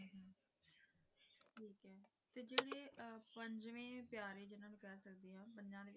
ਪੰਜਵੇਂ ਪਿਆਰੇ ਜਿੰਨਾ ਨੂੰ ਕਹਿ ਸਕਦੇ ਆ